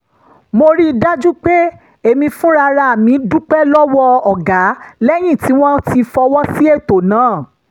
mo rí i dájú pé èmi fúnra mi dúpẹ́ lọ́wọ́ ọ̀gá lẹ́yìn tí wọ́n ti fọwọ́ sí ètò náà